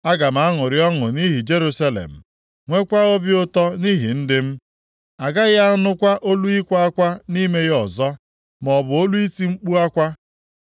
Aga m aṅụrị ọṅụ nʼihi Jerusalem, nweekwa obi ụtọ nʼihi ndị m; a gaghị anụkwa olu ịkwa akwa nʼime ya ọzọ, maọbụ olu iti mkpu akwa.